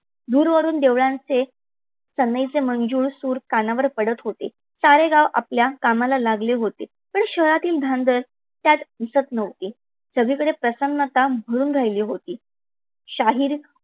दूर वरून देवळांचे सनईचे मंजुळ सूर कानावर पडत होते. सारे गाव आपल्या कामाला लागले होते. पण शहरातील धांदल त्यात दिसत नव्हती. सगळीकडे प्रसन्नता भरून राहिली होती.